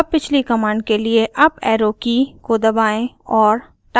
अब पिछली कमांड के लिए अप एरो की को दबाएं और